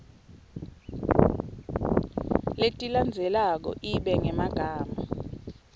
letilandzelako ibe ngemagama